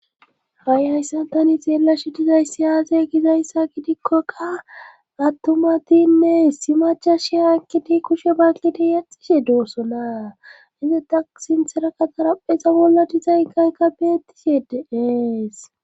Ha7i hayssantani xeellashi dizayssi aaze gizayssa gidikkoka attumatinne si macha shiha kiti kushe baketi yaxxishe doossona izeta sintherakataraphexa bolla dizaykaykka beetti se dees.